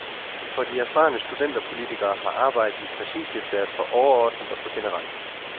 For de erfarne studenterpolitikere har arbejdet i præsidiet været for overordnet og for generelt.